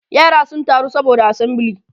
yara sun taru saboda assembly